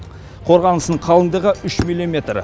қорғанысының қалыңдығы үш миллиметр